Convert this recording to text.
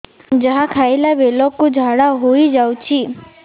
ଯାହା ଖାଇଲା ବେଳକୁ ଝାଡ଼ା ହୋଇ ଯାଉଛି